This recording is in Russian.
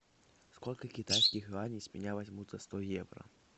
сколько китайских юаней с меня возьмут за сто евро